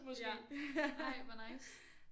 Ja ej hvor nice